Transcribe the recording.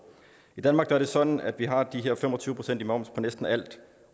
i danmark er det sådan at vi har de her fem og tyve procent i moms på næsten alt